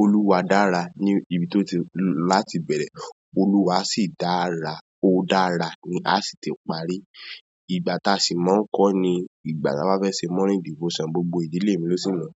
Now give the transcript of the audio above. Olúwa dára ni ibi tó ti láti bẹ̀rẹ̀, Olúwa sì dára, ó dára ni a sì ti parí. Ìgbà tí a simple máa ń kó ni ìgbà tí a bá fẹ́ ṣe morning devotion, gbogbo ìdílé mi lọ sí mo.